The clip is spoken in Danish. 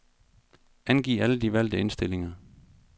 Angiv alle de valgte indstillinger.